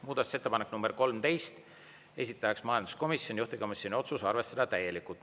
Muudatusettepanek nr 13, esitaja majanduskomisjon, juhtivkomisjoni otsus: arvestada täielikult.